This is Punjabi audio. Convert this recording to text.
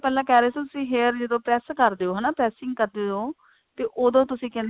ਪਹਿਲਾਂ ਕਿਹ ਰਹੇ ਸੀ ਤੁਸੀਂ hair ਜਦੋਂ press ਕਰਦੇ ਹੋ ਹਨਾ pressing ਕਰਦੇ ਹੋ ਤੇ ਉਦੋਂ ਤੁਸੀਂ ਕਹਿੰਦੇ